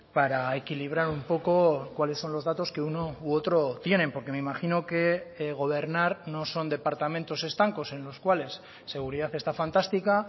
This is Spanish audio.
para equilibrar un poco cuáles son los datos que uno u otro tienen porque me imagino que gobernar no son departamentos estancos en los cuales seguridad esta fantástica